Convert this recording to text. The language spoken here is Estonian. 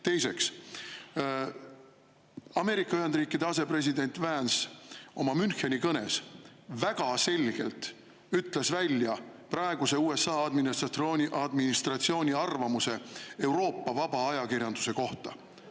Teiseks, Ameerika Ühendriikide asepresident Vance oma Müncheni kõnes väga selgelt ütles välja praeguse USA administratsiooni arvamuse Euroopa vaba ajakirjanduse kohta.